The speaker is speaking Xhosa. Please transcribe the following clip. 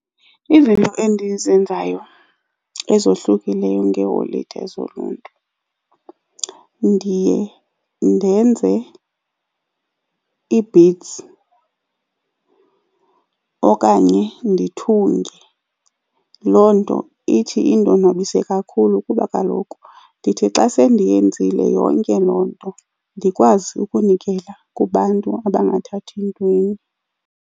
Izinto endizenzayo ezohlukileyo ngeeholide zoluntu ndiye ndenze ii-beads okanye ndithunge. Loo nto ithi indonwabise kakhulu kuba kaloku ndithi xa sendiyenzile yonke loo nto, ndikwazi ukunikela kubantu abangathathi ntweni.